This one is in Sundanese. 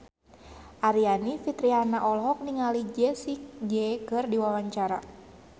Aryani Fitriana olohok ningali Jessie J keur diwawancara